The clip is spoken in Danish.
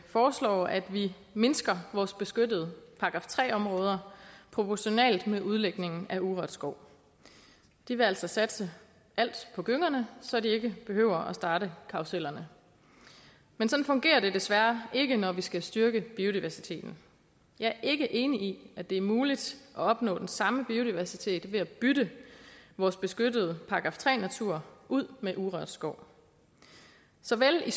foreslår at vi mindsker vores beskyttede § tre områder proportionalt med udlægningen af urørt skov de vil altså satse alt på gyngerne så de ikke behøver at starte karrusellerne men sådan fungerer det desværre ikke når vi skal styrke biodiversiteten jeg er ikke enig i at det er muligt at opnå den samme biodiversitet ved at bytte vores beskyttede § tre natur ud med urørt skov såvel i